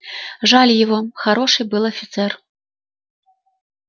жаль его хороший был офицер